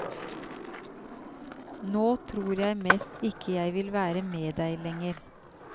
Nå tror jeg mest ikke jeg vil være med deg lenger.